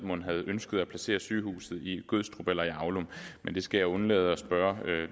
mon havde ønsket at placere sygehuset altså i gødstrup eller i aulum men det skal jeg undlade at spørge